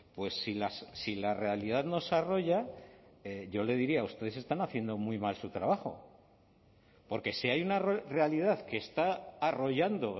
pues si la realidad nos arrolla yo le diría ustedes están haciendo muy mal su trabajo porque si hay una realidad que está arrollando